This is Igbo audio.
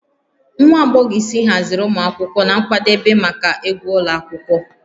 Nwa agbọghọ isi haziri ụmụ akwụkwọ na nkwadebe maka egwu ụlọ akwụkwọ